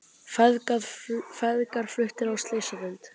Feðgar fluttir á slysadeild